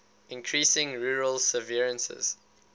increasing rural severances